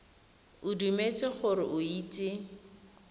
o dumetse gore o itse